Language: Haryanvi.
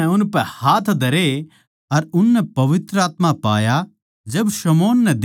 फेर प्रेरितां नै उनपै हाथ धरे अर उननै पवित्र आत्मा पाया